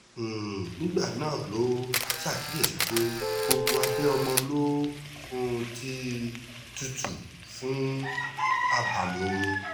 um nígbà náà ló ṣàkíyèsí pé gbogbo abẹ́ ọmọ ló um ti tutù fún abàmì omi